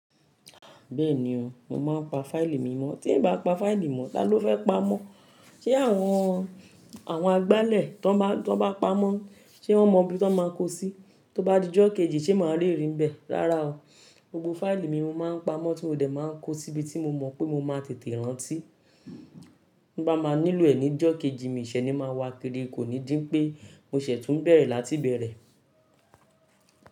Bẹ́ẹ̀ni o, mo máa ń pa fáìlì mi mọ́, tí ǹ bá pa fáìlì mọ́, tá ló fẹ́ pa mọ́? Ṣé àwọn, àwọn agbálẹ̀ tó bá, tó bá pa mọ́, ṣé wọ́n mọ ibi tó máa ń kó sí? Tó bá di ọjọ́ kejì ṣé màá le rí n bẹ́ẹ̀. Rárá o, gbogbo fáìlì mi mo máa ń pa mọ́ tí ó dẹ̀ máa ń kó sí ibi tí mo mọ̀ pé mo máa tètè rántí. Bí bá máa nílò ẹ̀ ní ọjọ́ kejì, miṣẹ́ ni máa wá kiri, kò ní dín pé mo ṣẹ̀tú ń bẹ̀rẹ̀ láti bẹ̀rẹ̀.